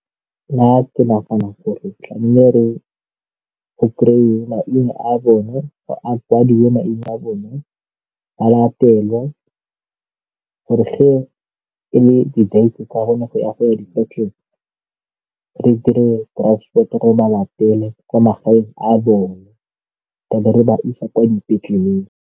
Nna ke nagana gore tlamehile [? go kry-iwe maina a bone a kwadiwe maina a bone ba latelwa gore ge e le di-date tsa bone go ya dipetlele, re dire transport-o gore ba latela kwa magaeng a bone a be re ba isa kwa dipetleleng.